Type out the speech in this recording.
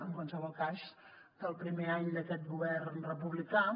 en qualsevol cas del primer any d’aquest govern republicà